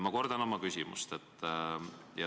Ma kordan oma küsimust.